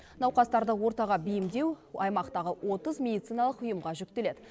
науқастарды ортаға бейімдеу аймақтағы отыз медициналық ұйымға жүктеледі